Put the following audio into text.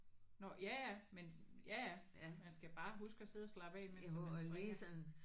Nåh ja ja men ja ja man skal bare huske at sidde og slappe af imens at man strikker